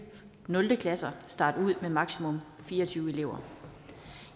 nul klasser starte ud med maksimum fire og tyve elever